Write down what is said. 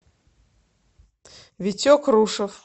витек рушев